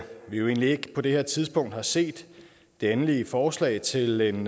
vi jo egentlig ikke på det her tidspunkt har set det endelige forslag til en